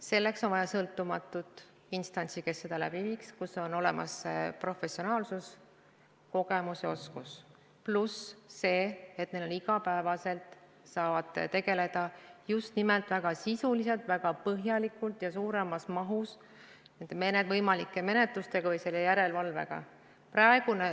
Selleks on vaja sõltumatut instantsi, kes seda läbi viiks, kus on olemas professionaalsus, kogemus ja oskus, pluss see, et nad igapäevaselt saavad tegeleda nende võimalike menetlustega või selle järelevalvega just nimelt väga sisuliselt, väga põhjalikult ja suuremas mahus.